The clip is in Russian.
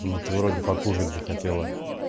ты вроде покушать захотела